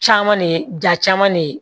Caman ne ja caman ne ye